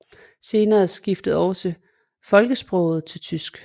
Senere skiftede også folkesproget til tysk